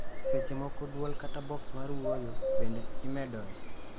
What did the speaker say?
seche moko duol kata, box mar wuoyo bende imedoe